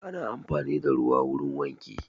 Ana amfani da ruwa wurin wanki